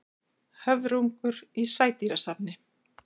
Höfrungur í sædýrasafni.